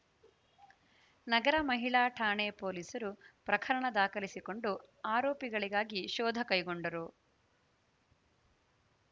ನಗರ ಮಹಿಳಾ ಠಾಣೆ ಪೊಲೀಸರು ಪ್ರಕರಣ ದಾಖಲಿಸಿಕೊಂಡು ಆರೋಪಿಗಳಿಗಾಗಿ ಶೋಧ ಕೈಗೊಂಡರು